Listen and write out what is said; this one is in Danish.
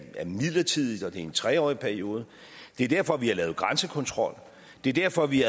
midlertidigt og at det er en tre årig periode det er derfor vi har lavet grænsekontrol det er derfor vi i